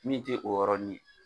Min tɛ o yɔrɔn ni ye.